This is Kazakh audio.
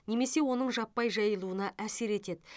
немесе оның жаппай жайылуына әсер етеді